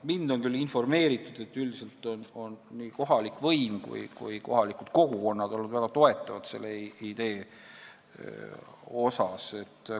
Mind on küll informeeritud, et üldiselt on nii kohalik võim kui kohalikud kogukonnad olnud väga toetavad selle idee koha pealt.